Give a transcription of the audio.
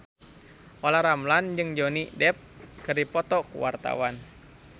Olla Ramlan jeung Johnny Depp keur dipoto ku wartawan